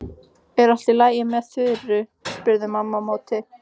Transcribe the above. Er allt í lagi með Þuru? spurði mamma á móti.